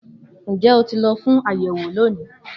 Njẹ o ti lọ fun ur ṣayẹwo loni